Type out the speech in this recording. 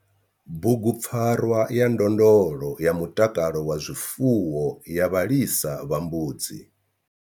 Bugupfarwa ya ndondolo ya mutakalo wa zwifuwo ya vhalisa vha mbudzi.